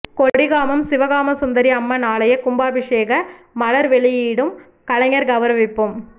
கொடிகாமம் சிவகாமசுந்தரி அம்மன் ஆலய கும்பாபிஷேக மலர் வெளியீடும் கலைஞர் கௌரவிப்பும்